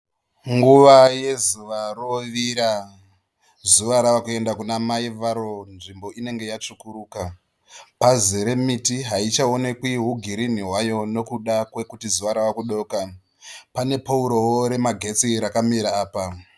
Munguva yezuva rovira. Zuva ravakuenda kuna amai varo. Nzvimbo inenge yatsvukurukuka. Pazere nemiti haichaonekwi hugirinhi hwayo nokuda kwekuti zuva rava kudoka. Pane poorowo remagetsi rakamira apa.